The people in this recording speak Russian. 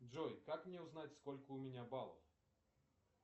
джой как мне узнать сколько у меня баллов